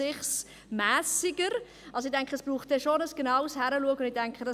Ich glaube, es wird schon noch ein genaueres Hinschauen nötig.